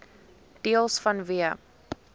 deels vanweë